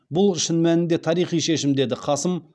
бұл шын мәнінде тарихи шешім деді қасым